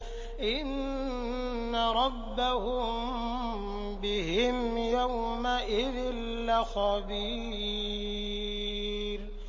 إِنَّ رَبَّهُم بِهِمْ يَوْمَئِذٍ لَّخَبِيرٌ